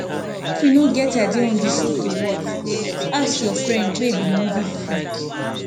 if you no get idea on di show to watch you fit ask your friend wey be movie freak